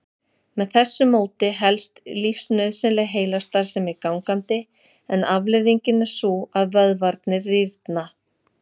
Með þessu móti helst lífsnauðsynleg heilastarfsemi gangandi en afleiðingin er sú að vöðvarnir rýrna.